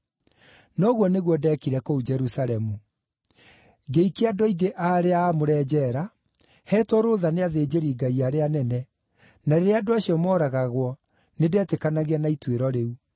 Na ũguo nĩguo ndeekire kũu Jerusalemu. Ngĩikia andũ aingĩ a arĩa aamũre njeera, heetwo rũũtha nĩ athĩnjĩri-Ngai arĩa anene, na rĩrĩa andũ acio mooragagwo, nĩndetĩkanagia na ituĩro rĩu.